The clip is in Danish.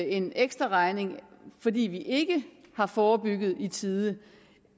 en ekstraregning fordi vi ikke har forebygget i tide